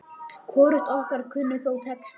Hvorugt okkar kunni þó texta.